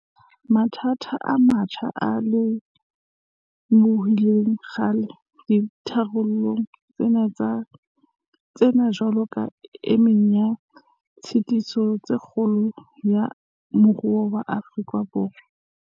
Mathata a metjha a lemohilwe kgale dikarolong tsena jwalo ka e meng ya ditshitiso tsa kgolo ya moruo wa Afrika Borwa.